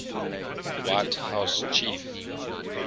white house chief